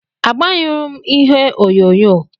Agbanyụrụ m ihe onyonyo.